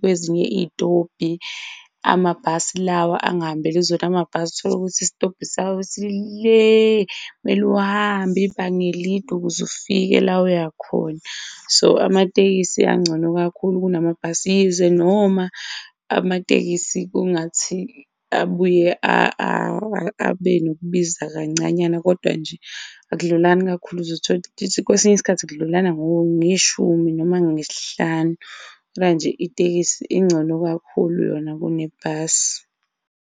kwezinye izitobhi amabhasi lawa angahambeli zona. Amabhasi utholukuthi isitobhi sakhona si le, kumele uhambe ibanga elide ukuze ufike la uyakhona. So, amatekisi angcono kakhulu kunamabhasi, yize noma amatekisi kungathi abuye abe nokubiza kancanyana kodwa nje akudlulani kakhulu. Uzothola kwesinye isikhathi kudlulana ngeshumi noma ngesihlanu manje itekisi ingcono kakhulu yona kunebhasi.